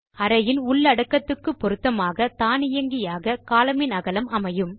அறையின் உள்ளடக்கத்துக்கு பொருத்தமாக தானியங்கியாக columnஇன் அகலம் அமையும்